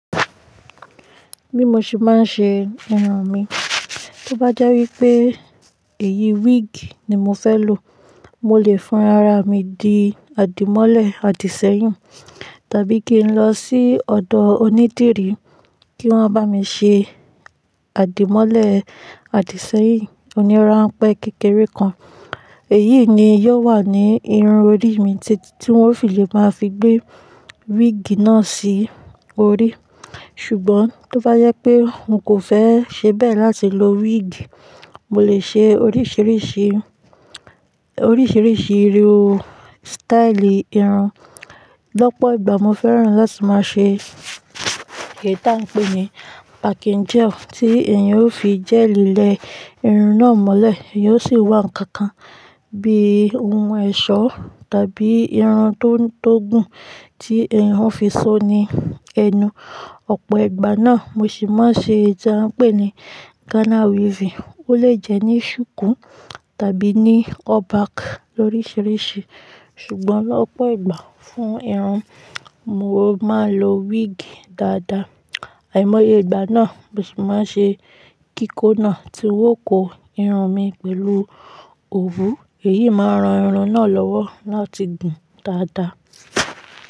Bí mo ṣe má n se irun mi, tó bá jẹ́ wípé èyí wíìgì ni mo fẹ́ lò, mo lè fún ara mi di àdìmọ́lẹ̀ àdìsẹ́yìn tàbí kí n lọ sí ọ̀dọ̀ onídìrí kí wọ́n bá mi ṣe àdìmọ́lẹ̀ àdìsẹ́yìn. Oní ránpẹ́ kékeré kan, èyí ni yóò wà ní irun orí mi tí wọ́n ó fi lè máa fi gbé wíìgì náà sí orí. Ṣùgbọ́n tó bá jẹ pé n kò fẹ́ ṣe bẹ́ẹ̀ láti lo wíìgì, mo lè ṣe oríṣìíríṣìí, oríṣìíríṣìí irú sítáílì irun. Lọ́pọ̀ ìgbà mo fẹ́ràn láti máa ṣe èyí tí a n pè ní páńkẹ́ẹ̀jẹ̀ tí èèyàn ó fi jẹ́li lẹ irun náà mọ́lẹ̀, èèyàn ó sì wà ǹkan kan bí ohun ẹ̀ṣọ́ tàbí irun tó gùn tí èèyàn ó fi só ní ẹnu. Ọ̀pọ̀ ìgbà náà mo sì máa n ṣe èyí tí a n pè ní Ghana weaving, ó lè jẹ́ ní ṣùkú tàbí ní up back lorisirisi. Ṣùgbọ́n lọ́pọ̀ ìgbà fún irun mo máa n lo wíìgì dáadáa. Àìmọye ìgbà náà mo sì máa n ṣe kíkó náà tí un ó kó irun mi pẹ̀lú òwú, èyí máa ran irun náà lọ́wọ́ láti gùn dáadáa.